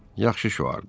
"Yaxşı şüardır."